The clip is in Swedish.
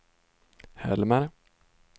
Helmer